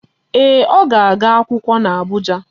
Ee, ọ ga-aga akwụkwọ n'Abụja.